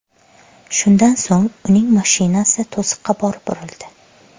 Shundan so‘ng, uning mashinasi to‘siqqa borib urildi.